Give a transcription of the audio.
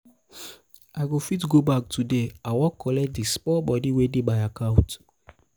i fit go bank today i wan collect di small moni wey dey my account.